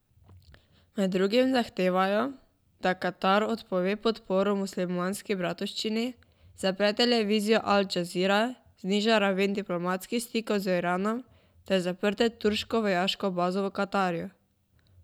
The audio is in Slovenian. Med drugim zahtevajo, da Katar odpove podporo Muslimanski bratovščini, zapre televizijo Al Džazira, zniža raven diplomatskih stikov z Iranom ter zaprte turško vojaško bazo v Katarju.